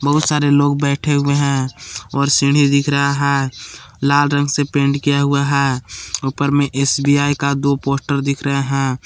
बहुत सारे लोग बैठे हुए हैं और सीढ़ी दिख रहा है लाल रंग से पेंट किया हुआ है उपर में एस_बी_आई का दो पोस्टर दिख रहे है।